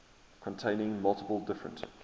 containing multiple different